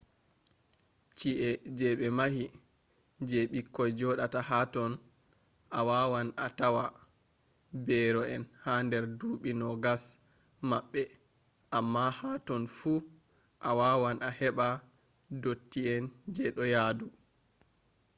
chi’eh je ɓe mahi je ɓikkoi joɗata hatotton a wawan a tawa beero en ha nder duuɓi 2o maɓɓe amma ha totton fu a wawan a heɓa dotti en je ɗo yaadu